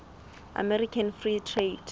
american free trade